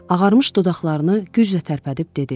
Ağarmış dodaqlarını güclə tərpədib dedi: